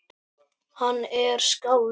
Hann er skáld